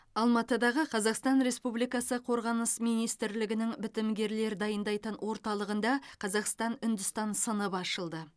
алматыдағы қазақстан республикасы қорғаныс министрлігінің бітімгерлер дайындайтын орталығында қазақстан үндістан сыныбы ашылды